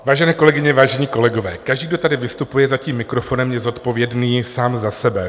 Vážené kolegyně, vážení kolegové, každý, kdo tady vystupuje za tím mikrofonem, je zodpovědný sám za sebe.